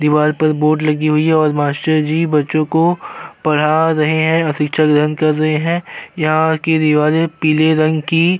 दीवाल पर बोर्ड लगी हुई है और मास्टर जी बच्चों को पढ़ा रहे हैं अ शिक्षा ग्रहण कर रहे हैं। यहाँ के दीवाले पीले रंग की --